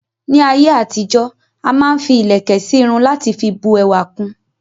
Ní ayé àtijó,a máa n fi ilẹ̀kẹ̀ sí Irun lati fi bu ẹwà kun